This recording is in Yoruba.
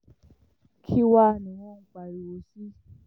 kí wàá